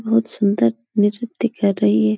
बोहोत सुन्दर निरित्य कर रही है।